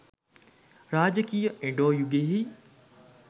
රාජකීය එඩෝ යුගයෙහි